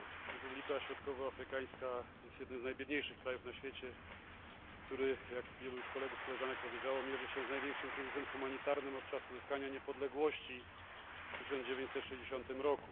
Republika Środkowoafrykańska jest jednym z najbiedniejszych krajów na świecie, który, jak wielu już kolegów i koleżanek powiedziało, mierzy się z największym kryzysem humanitarnym od czasu uzyskania niepodległości w 1960 r.